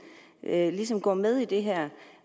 ligesom går med i det her